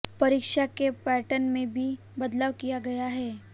परीक्षा के पैटर्न में भी बदलाव किया गया है